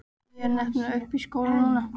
Ég er nefnilega uppi í skóla núna.